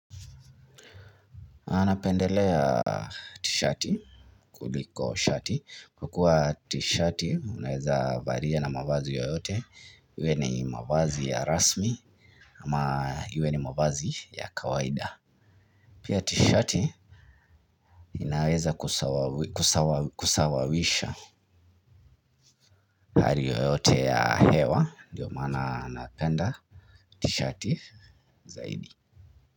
Napendelea tishati kuliko shati kukua tishati unaweza valia na mavazi yoyote. Iwe ni mavazi ya rasmi ama iwe ni mavazi ya kawaida. Pia tishati inaweza kusawawisha hali yoyote ya hewa ndiyo maana napenda tishati zaidi.